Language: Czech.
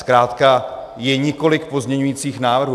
Zkrátka je několik pozměňujících návrhů.